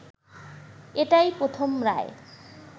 এটাই প্রথম রায়